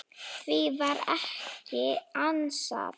Því var ekki ansað.